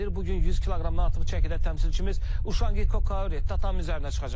Bu gün 100 kq-dan artıq çəkidə təmsilçimiz Uşangi Kori tatami üzərinə çıxacaq.